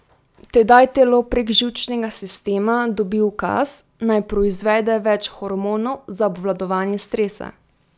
Tedaj telo prek živčnega sistema dobi ukaz, naj proizvede več hormonov za obvladovanje stresa.